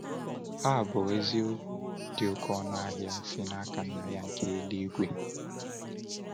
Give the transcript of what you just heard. Ha bụ eziokwu dị oké ọnụ ahịa si n’aka Nna ya nke eluigwe!